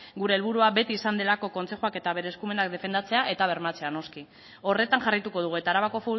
gure helburua beti izan delako kontzejuak eta bere eskumenak defendatzea eta bermatzea noski horretan jarraituko dugu eta arabako